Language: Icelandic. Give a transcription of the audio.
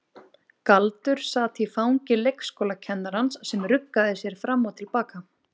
Galdur sat í fangi leikskólakennarans sem ruggaði sér fram og til baka.